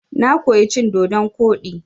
Na koyo cin dodon koɗi.